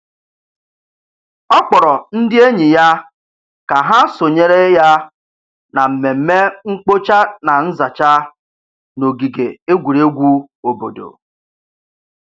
Ọ kpọrọ ndị enyi ya ka ha sonyere ya na mmemme mkpocha na nzacha n'ogige egwuregwu obodo.